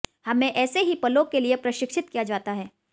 हमें ऐसे ही पलों के लिए प्रशिक्षित किया जाता है